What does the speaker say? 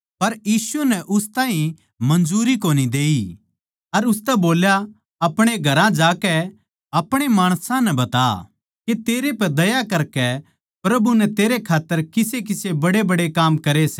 पर यीशु नै उस ताहीं मंजूरी कोनी देई अर उसतै बोल्या अपणे घरां जाकै अपणे माणसां नै बता के तेरै पै दया करकै प्रभु नै तेरै खात्तर किस किसे बड्डेबड्डे काम करे सै